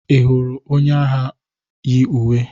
Ị hụrụ onye agha yi uwe?